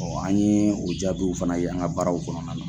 an ɲe o jaabiw fana ye an ga baaraw kɔnɔna na